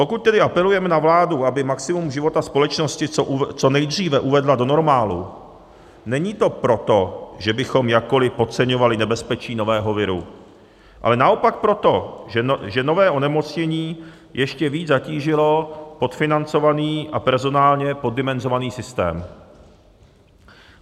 Pokud tedy apelujeme na vládu, aby maximum života společnosti co nejdříve uvedla do normálu, není to proto, že bychom jakkoli podceňovali nebezpečí nového viru, ale naopak proto, že nové onemocnění ještě víc zatížilo podfinancovaný a personálně poddimenzovaný systém.